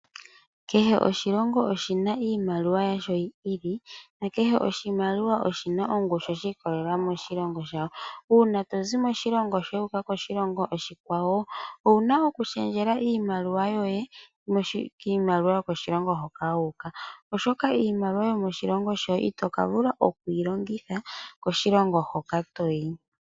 Kehe oshilongo oshina iimaliwa yasho yi ili. Nakehe oshilongo oshina ongushu shi ikwatelela moshilongo shawo. Una tozi moshilongo shoye wu uka moshilongo oshikwawo owuna oku shendja iimaliwa yoye miimaliwa yokoshilongo hoka wu uka. Oshoka iimaliwa yomoshilongo shoye itoka vula okuyi longitha koshilongo hoka toyi.